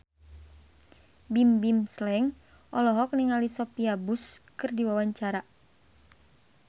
Bimbim Slank olohok ningali Sophia Bush keur diwawancara